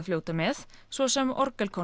fljóta með svo sem